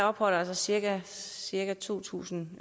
opholder cirka cirka to tusind